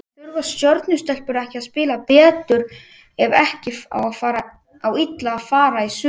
En þurfa Stjörnu stelpur ekki að spila betur ef ekki á illa fara í sumar?